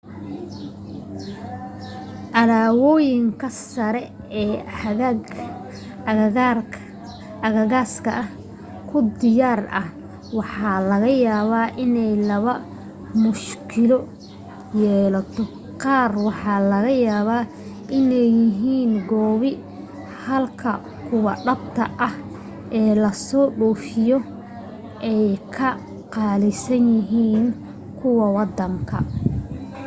alaaboyinka sare ee aagagaas ku diyaar ah waxa laga yaabaa inay laba mushkilo yeelato qaar waxa laga yaabaa inay yihiin koobi halka kuwa dhabta ah ee la soo dhoofiyay ay ka qaalisan yihiin kuwa waddanka